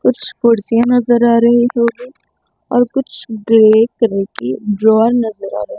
कुछ कुर्सियां नजर आ रही हो और कुछ ग्रे कलर की ड्रॉ नजर आ रही--